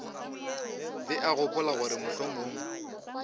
be a gopola gore mohlomong